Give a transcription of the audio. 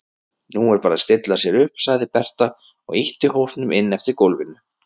Nú er bara að stilla sér upp, sagði Berta og ýtti hópnum inn eftir gólfinu.